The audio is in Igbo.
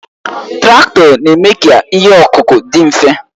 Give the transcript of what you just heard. Traktọ na-eme ka ihe ọkụkụ dị mfe